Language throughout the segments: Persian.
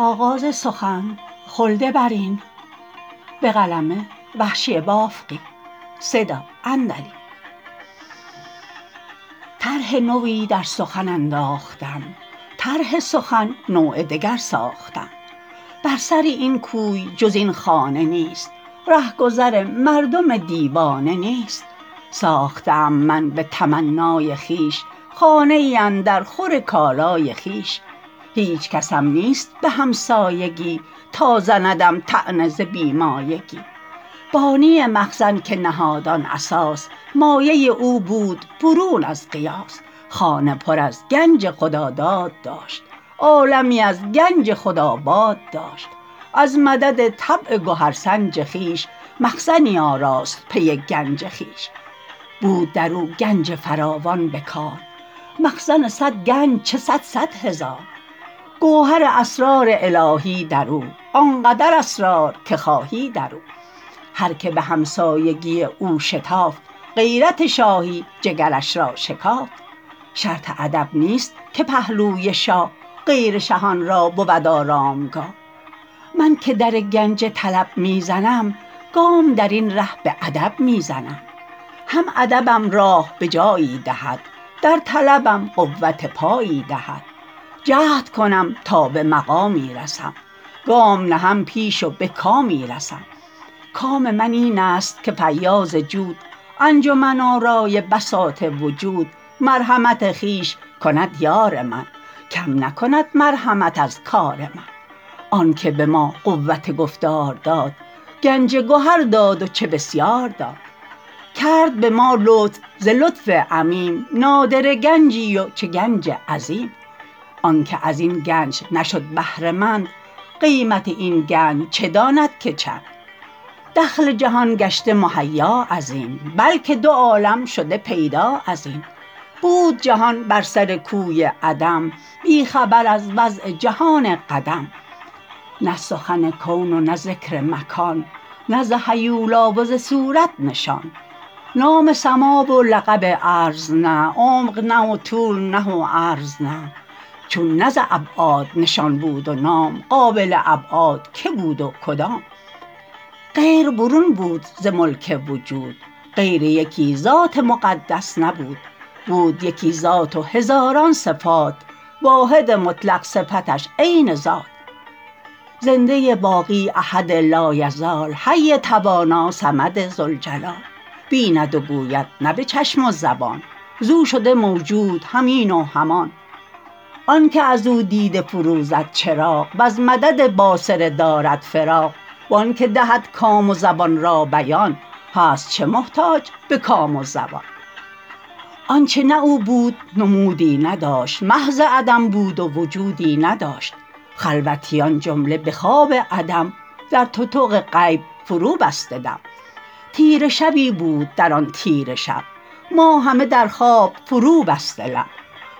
طرح نوی در سخن انداختم طرح سخن نوع دگر ساختم بر سر این کوی جز این خانه نیست رهگذر مردم دیوانه نیست ساخته ام من به تمنای خویش خانه ای اندر خور کالای خویش هیچ کسم نیست به همسایگی تا زندم طعنه ز بی مایگی بانی مخزن که نهاد آن اساس مایه او بود برون از قیاس خانه پر از گنج خداداد داشت عالمی از گنج خود آباد داشت از مدد طبع گهر سنج خویش مخزنی آراست پی گنج خویش بود در او گنج فراوان به کار مخزن سد گنج چه سد سد هزار گوهر اسرار الهی در او آنقدر اسرار که خواهی در او هر که به همسایگی او شتافت غیرت شاهی جگرش را شکافت شرط ادب نیست که پهلوی شاه غیر شهان را بود آرامگاه من که در گنج طلب می زنم گام در این ره به ادب می زنم هم ادبم راه به جایی دهد در طلبم قوت پایی دهد جهد کنم تا به مقامی رسم گام نهم پیش و به کامی رسم کام من اینست که فیاض جود انجمن آرای بساط وجود مرحمت خویش کند یار من کم نکند مرحمت از کار من آن که به ما قوت گفتار داد گنج گهر داد و چه بسیار داد کرد به ما لطف ز لطف عمیم نادره گنجی و چه گنج عظیم آن که از این گنج نشد بهره مند قیمت این گنج چه داند که چند دخل جهان گشته مهیا از این بلکه دو عالم شده پیدا از این بود جهان بر سر کوی عدم بی خبر از وضع جهان قدم نه سخن کون و نه ذکر مکان نه ز هیولا وز صورت نشان نام سما و لقب ارض نه عمق نه وطول نه و عرض نه چون نه ز ابعاد نشان بود و نام قابل ابعاد که بود و کدام غیر برون بود ز ملک وجود غیر یکی ذات مقدس نبود بود یکی ذات و هزاران صفات واحد مطلق صفتش عین ذات زنده باقی احد لایزال حی توانا صمد ذوالجلال بیند و گوید نه به چشم و زبان زو شده موجود هم این و هم آن آن که از او دیده فروزد چراغ وز مدد باصره دارد فراغ وان که دهد کام و زبان را بیان هست چه محتاج به کام و زبان آنچه نه او بود نمودی نداشت محض عدم بود و وجودی نداشت خلوتیان جمله به خواب عدم در تتق غیب فرو بسته دم تیره شبی بود درآن تیره شب ما همه در خواب فرو بسته لب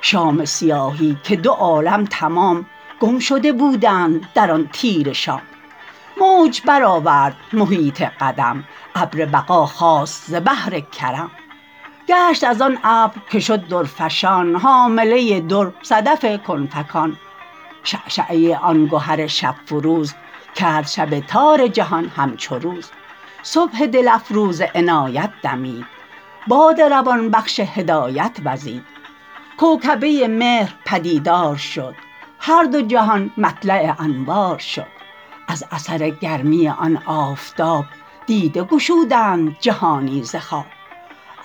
شام سیاهی که دو عالم تمام گم شده بودند در آن تیره شام موج برآورد محیط قدم ابر بقا خاست ز بحر کرم گشت از آن ابر که شد درفشان حامله در صدف کن فکان شعشعه آن گهر شب فروز کرد شب تار جهان همچو روز صبح دل افروز عنایت دمید باد روان بخش هدایت وزید کوکبه مهر پدیدار شد هر دو جهان مطلع انوار شد از اثر گرمی آن آفتاب دیده گشودند جهانی ز خواب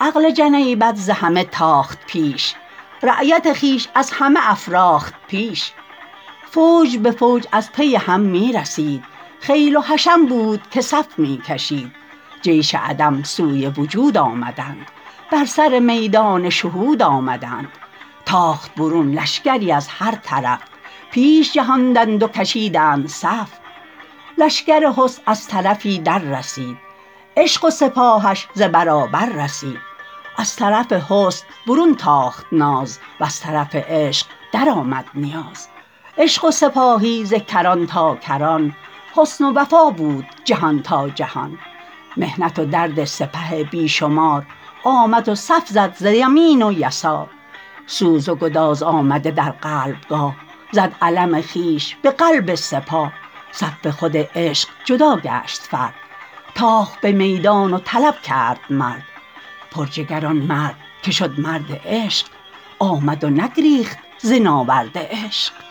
عقل جنیبت ز همه تاخت پیش رایت خویش از همه افراخت پیش فوج به فوج از پی هم می رسید خیل و حشم بود که صف می کشید جیش عدم سوی وجود آمدند بر سر میدان شهود آمدند تاخت برون لشکری از هر طرف پیش جهاندند و کشیدند صف لشکر حسن از طرفی در رسید عشق و سپاهش ز برابر رسید از طرف حسن برون تاخت ناز وز طرف عشق در آمد نیاز عشق و سپاهی ز کران تا کران حسن و وفا بود جهان تا جهان محنت و درد سپه بی شمار آمد و صف زد ز یمین و یسار سوز و گداز آمده در قلبگاه زد علم خویش به قلب سپاه از صف خود عشق جدا گشت فرد تاخت به میدان و طلب کرد مرد پر جگر آن مرد که شد مرد عشق آمد و نگریخت ز ناورد عشق